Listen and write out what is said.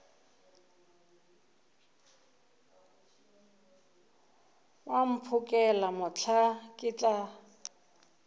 wa mphokela mohla ke tla